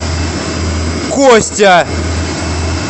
костя